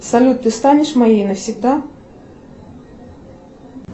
салют ты станешь моей навсегда